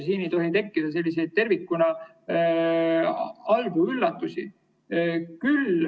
Siin ei tohi tekkida tervikuna halbu üllatusi.